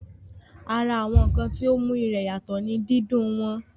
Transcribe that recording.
Ara àwọn ǹkan tí ó mú ìrẹ̀ yàtọ̀ ní dídún wọn